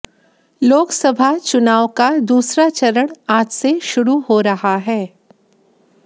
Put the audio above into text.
लोकसभा चुनाव का दूसरा चरण आज से शुरू हो रहा है